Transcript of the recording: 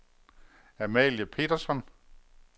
Amalie Petersson